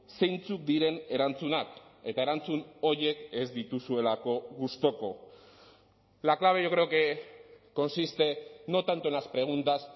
zeintzuk diren erantzunak eta erantzun horiek ez dituzuelako gustuko la clave yo creo que consiste no tanto en las preguntas